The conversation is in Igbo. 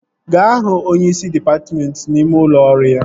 Gaa hụ onyeisi dịpatmentị n'ime ụlọ ọrụ ya!